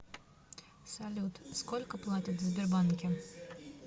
салют сколько платят в сбербанке